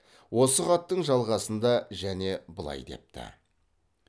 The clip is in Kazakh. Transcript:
осы хаттың жалғасында және былай депті